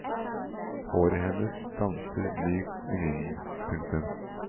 Håret hennes danser mykt i vinden. punktum